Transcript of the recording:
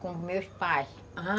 Com os meus pais, ah...